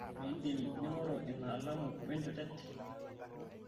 mindim ningoru ina alamu we enjutet